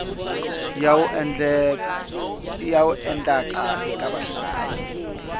ya wu endlaka eka vahlayi